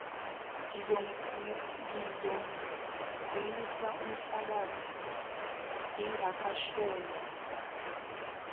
ngizomkhumisa umhlabathi lingakashoni